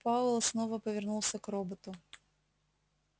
пауэлл снова повернулся к роботу